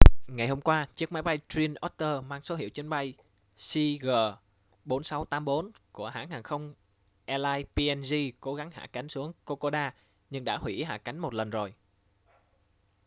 ngày hôm qua chiếc máy bay twin otter mang số hiệu chuyến bay cg4684 của hãng hàng không airlines png cố gắng hạ cánh xuống kokoda nhưng đã huỷ hạ cánh một lần rồi